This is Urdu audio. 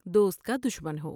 دوست کا دشمن ہو ۔